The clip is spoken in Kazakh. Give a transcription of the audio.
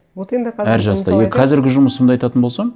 вот енді қазір әр жаста қазіргі жұмысымды айтатын болсам